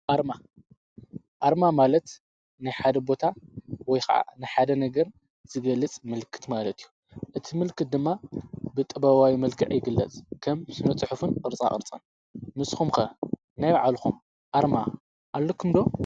ኣርማ ኣርማ ማለት ናይሓደቦታ ወይ ኸዓ ንሓደ ነገር ዝገልጽ ምልክት ማለት እዩ። እቲ ምልክት ድማ ብጥበዋይ መልግዕ ይግለ። ከም ስነጽሑፉን ቕርጻ ቕርጸን ምስኹምከ ናይ ዓልኹም ኣርማ ኣለኩምዶ?